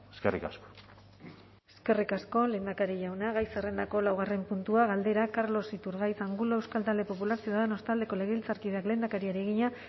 eskerrik asko eskerrik asko lehendakari jauna gai zerrendako laugarren puntua galdera carlos iturgaiz angulo euskal talde popular ciudadanos taldeko legebiltzarkideak lehendakariari egina